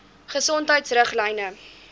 gesondheidriglyne